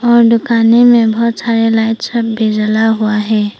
और दुकानें में बहुत सारे लाइट सब भी जला हुआ है।